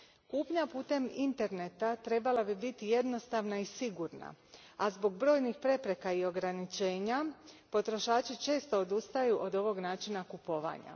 Kupnja putem interneta trebala bi biti jednostavna i sigurna, a zbog brojnih prepreka i ograničenja potrošači često odustaju od ovog načina kupovanja.